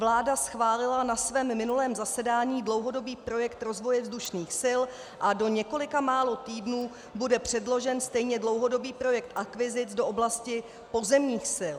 Vláda schválila na svém minulém zasedání dlouhodobý projekt rozvoje vzdušných sil a do několika málo týdnů bude předložen stejně dlouhodobý projekt akvizic do oblasti pozemních sil.